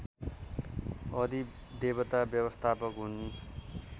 अधिदेवता व्यवस्थापक हुन्